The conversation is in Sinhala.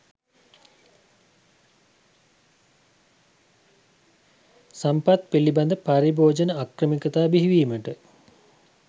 සම්පත් පිළිබඳ පරිභෝජන අක්‍රමිකතා බිහිවීමට